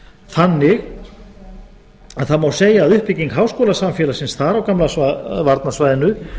þannig að það má segja að uppbygging háskólasamfélagsins þar á gamla varnarsvæðinu